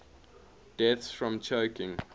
deaths from choking